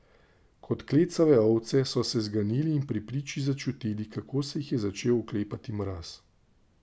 Kot klecave ovce so se zganili in pri priči začutili, kako se jih je začel oklepati mraz.